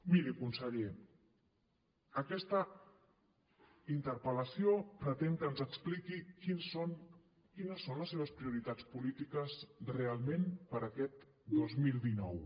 miri conseller aquesta interpel·lació pretén que ens expliqui quines són les seves prioritats polítiques realment per aquest dos mil dinou